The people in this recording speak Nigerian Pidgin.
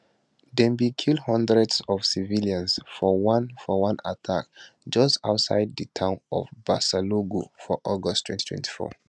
dem bin kill hundreds of civilians for one for one attack just outside di town of barsalogho for august 2024